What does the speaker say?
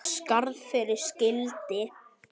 Skarð fyrir skildi